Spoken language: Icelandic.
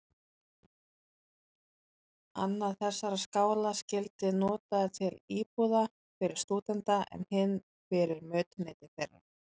Annar þessara skála skyldi notaður til íbúðar fyrir stúdenta, en hinn fyrir mötuneyti þeirra.